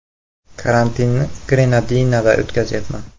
“Karantinni Grenadinada o‘tkazyapman.